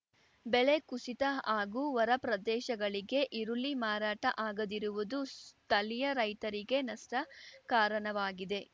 ಬೆಲೆ ಕುಸಿತ ಹಾಗೂ ಹೊರಪ್ರದೇಶಗಳಿಗೆ ಈರುಳ್ಳಿ ಮಾರಾಟ ಆಗದಿರುವುದು ಸ್ಥಳೀಯ ರೈತರಿಗೆ ನಷ್ಟ ಕಾರಣವಾಗಿದೆ